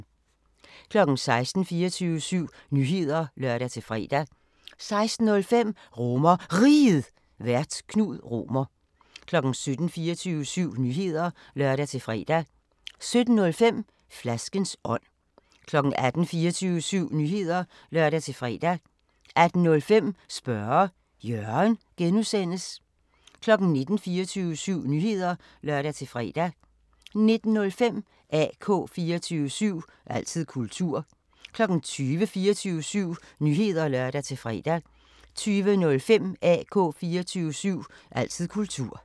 16:00: 24syv Nyheder (lør-fre) 16:05: RomerRiget, Vært: Knud Romer 17:00: 24syv Nyheder (lør-fre) 17:05: Flaskens ånd 18:00: 24syv Nyheder (lør-fre) 18:05: Spørge Jørgen (G) 19:00: 24syv Nyheder (lør-fre) 19:05: AK 24syv – altid kultur 20:00: 24syv Nyheder (lør-fre) 20:05: AK 24syv – altid kultur